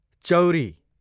चौरी